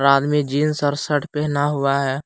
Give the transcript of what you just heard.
आदमी जींस और शर्ट पहना हुआ है।